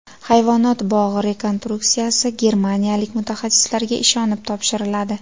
Hayvonot bog‘i rekonstruksiyasi germaniyalik mutaxassislarga ishonib topshiriladi.